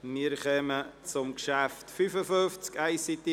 Wir kommen zum Traktandum 55: